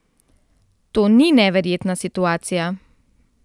To ni neverjetna situacija.